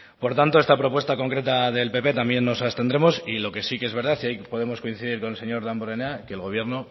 por lo tanto esta propuesta concreta del pp también nos abstendremos y lo que sí que es verdad y ahí podemos coincidir con el señor damborenea es que el gobierno